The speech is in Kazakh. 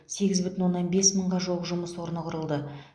сегіз бүтін оннан бес мыңға жуық жұмыс орны құрылды